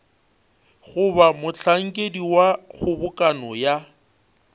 goba mohlankedi wa kgobokano ya